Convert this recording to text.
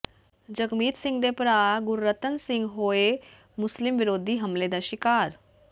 ਜਗਮੀਤ ਸਿੰਘ ਦੇ ਭਰਾ ਗੁਰਰਤਨ ਸਿੰਘ ਹੋਏ ਮੁਸਲਿਮ ਵਿਰੋਧੀ ਹਮਲੇ ਦਾ ਸ਼ਿਕਾਰ